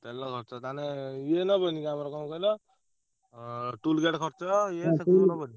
ତେଲ ଖର୍ଚ ତାହେଲେ ଇଏ ନବନି କି ଆମର କଣ କହିଲ ଅଁ toll gate ଖର୍ଚ ଇଏ ନବନି?